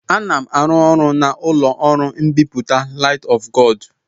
Ana m arụ ọrụ n'ụlọ ọrụ mbipụta Light of God.